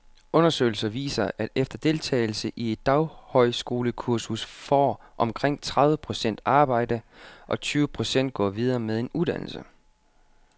Undersøgelser viser, at efter deltagelse i et daghøjskolekursus får omkring tredive procent arbejde, og tyve procent går videre med en uddannelse.